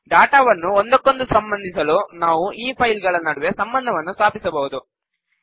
ಡಾಟಾವನ್ನು ಒಂದಕ್ಕೊಂದು ಸಂಬಂಧಿಸಲು ನಾವು ಈ ಫೈಲ್ ಗಳ ನಡುವೆ ಸಂಬಂಧವನ್ನು ಸ್ಥಾಪಿಸಬಹುದು